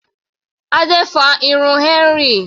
Adé fa irun Henry.